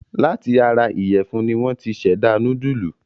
Láti ara ìyẹ̀fún ni wọ́n ti ṣẹ̀dá núdúlù.